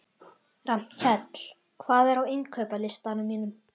Rafnkell, hvað er á innkaupalistanum mínum?